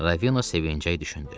Ravino sevinclə düşündü.